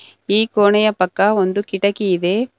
ಈ ಕೋಣೆಯ ಪಕ್ಕ ಒಂದು ಕಿಟಕಿ ಇದೆ.